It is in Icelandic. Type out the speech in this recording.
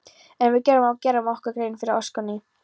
En við verðum að gera okkur grein fyrir orsökinni.